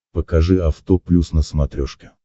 покажи авто плюс на смотрешке